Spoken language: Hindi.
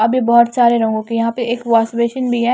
अभी बहोत सारे लोगों के यहां पे एक वाश बेसिन भी है।